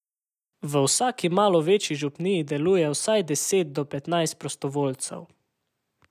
V vsaki malo večji župniji deluje vsaj deset do petnajst prostovoljcev.